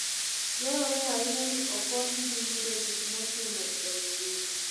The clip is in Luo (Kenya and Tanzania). Dwarore ahinya ni okonygi yudo gik mochuno e ngima.